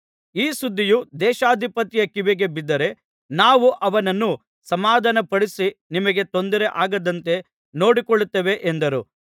ಈ ಸುದ್ದಿಯು ದೇಶಾಧಿಪತಿಯ ಕಿವಿಗೆ ಬಿದ್ದರೆ ನಾವು ಅವನನ್ನು ಸಮಾಧಾನಪಡಿಸಿ ನಿಮಗೆ ತೊಂದರೆ ಆಗದಂತೆ ನೋಡಿಕೊಳ್ಳುತ್ತೇವೆ ಎಂದರು